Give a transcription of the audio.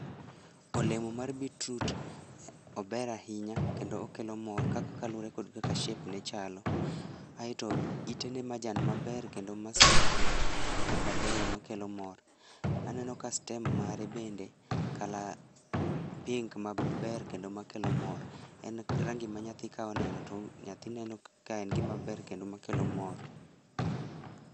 Olemo mar beet root, ober ahinya kendo okelo mor kaluore kod kaka shape ne chalo, aeto itene majan maber kendo masmart mabeyo makelo mor, aneno ka stem mare bende colour pink maber kendo makelo mor, en rangi ma nyathi ka oneno to nyathi neno ka en gimaber kendo makelo mor.